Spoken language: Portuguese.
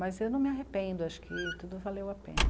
Mas eu não me arrependo, acho que tudo valeu a pena.